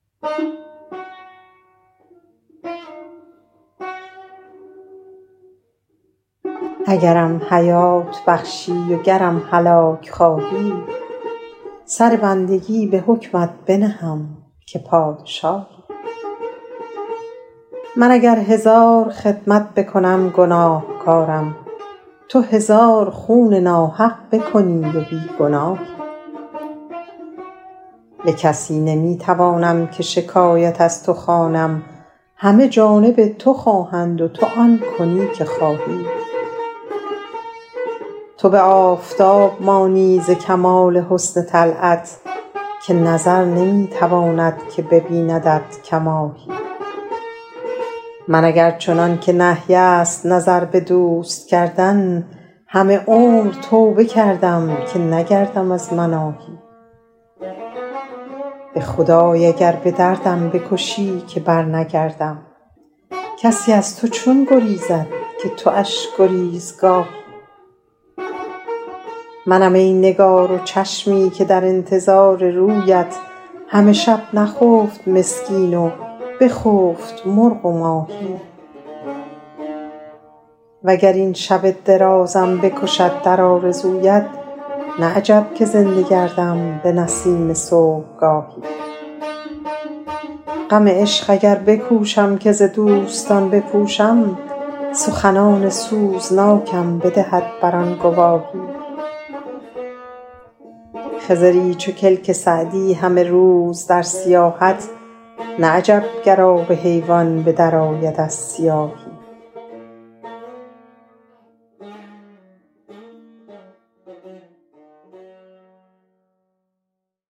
اگرم حیات بخشی وگرم هلاک خواهی سر بندگی به حکمت بنهم که پادشاهی من اگر هزار خدمت بکنم گناهکارم تو هزار خون ناحق بکنی و بی گناهی به کسی نمی توانم که شکایت از تو خوانم همه جانب تو خواهند و تو آن کنی که خواهی تو به آفتاب مانی ز کمال حسن طلعت که نظر نمی تواند که ببیندت کماهی من اگر چنان که نهی است نظر به دوست کردن همه عمر توبه کردم که نگردم از مناهی به خدای اگر به دردم بکشی که برنگردم کسی از تو چون گریزد که تواش گریزگاهی منم ای نگار و چشمی که در انتظار رویت همه شب نخفت مسکین و بخفت مرغ و ماهی و گر این شب درازم بکشد در آرزویت نه عجب که زنده گردم به نسیم صبحگاهی غم عشق اگر بکوشم که ز دوستان بپوشم سخنان سوزناکم بدهد بر آن گواهی خضری چو کلک سعدی همه روز در سیاحت نه عجب گر آب حیوان به درآید از سیاهی